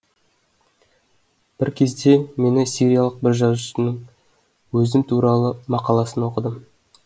бір кезде мен сириялық бір жазушының өзім туралы мақаласын оқыдым